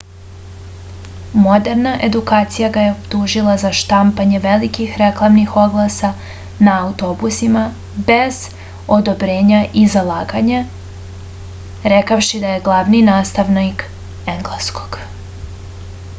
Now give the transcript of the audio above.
moderna edukacija ga je optužila za štampanje velikih reklamnih oglasa na autobusima bez odobrenja i za laganje rekavši da je glavni nastavnik engleskog